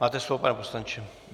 Máte slovo, pane poslanče.